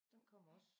Hun kommer også